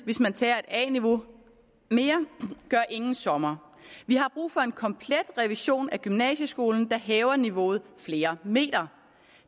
hvis man tager et a niveau mere gør ingen sommer vi har brug for en komplet revision af gymnasieskolen der hæver niveauet flere meter